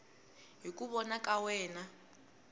hi ku vona ka wena